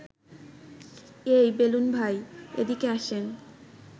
এই বেলুন ভাই, এদিকে আসেন